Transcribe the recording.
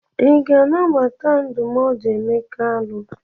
Ị ga-anabata ndụmọdụ Emeka alụ?